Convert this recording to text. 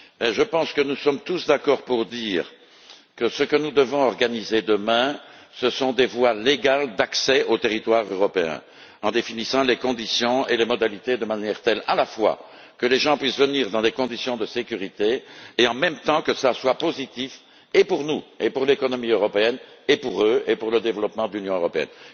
Je pense que nous sommes tous d'accord pour dire que nous devons organiser, demain, des voies légales d'accès au territoire européen, en définissant les conditions et les modalités de manière telle qu'à la fois, les gens puissent venir dans des conditions de sécurité et que cela soit positif pour nous, pour l'économie européenne, pour eux et pour le développement de l'Union européenne.